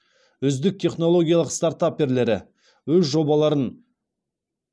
үздік технологиялық стартаперлері өз жобаларын